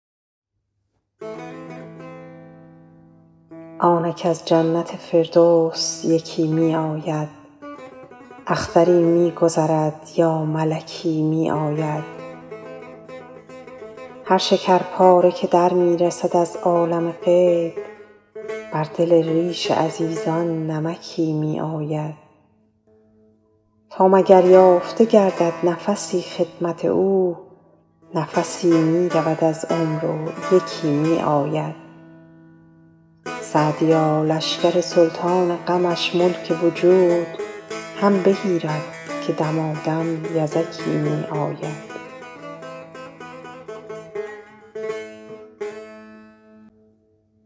آنک از جنت فردوس یکی می آید اختری می گذرد یا ملکی می آید هر شکرپاره که در می رسد از عالم غیب بر دل ریش عزیزان نمکی می آید تا مگر یافته گردد نفسی خدمت او نفسی می رود از عمر و یکی می آید سعدیا لشکر سلطان غمش ملک وجود هم بگیرد که دمادم یزکی می آید